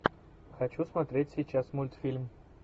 хочу смотреть сейчас мультфильм